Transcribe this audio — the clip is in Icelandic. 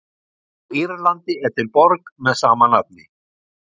Á Írlandi er til borg með sama nafni.